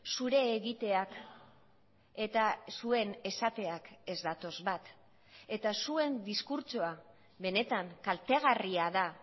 zure egiteak eta zuen esateak ez datoz bat eta zuen diskurtsoa benetan kaltegarria da